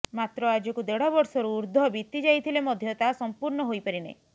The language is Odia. ମାତ୍ର ଆଜକୁ ଦେଢ଼ ବର୍ଷରୁ ଉର୍ଦ୍ଧ୍ବ ବିତି ଯାଇଥିଲେ ମଧ୍ୟ ତାହା ସମ୍ପୁର୍ଣ୍ଣ ହୋଇପାରି ନାହିଁ